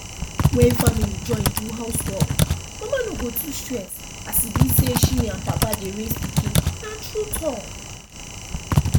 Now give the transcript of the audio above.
when family join do house work mama no go too stress as e be say she and papa dey raise pikin na true talk